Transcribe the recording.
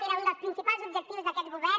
era un dels principals objectius d’aquest govern